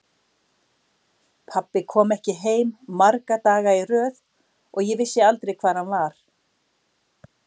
Pabbi kom ekki heim marga daga í röð og ég vissi aldrei hvar hann var.